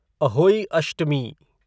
Ahoi Ashtami